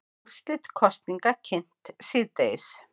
Úrslit kosninga kynnt síðdegis